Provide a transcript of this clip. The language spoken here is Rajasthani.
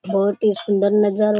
बहुत ही सुन्दर नजरो --